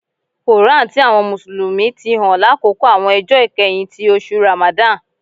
Koran ti àwọn Mùsùlùmí ti hàn lákòókò àwọn ọjọ ikẹhin ti oṣù Ramadan.